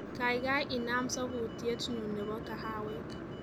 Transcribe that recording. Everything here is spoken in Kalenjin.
Kaikai inam sabuyetnyu nebo kahawek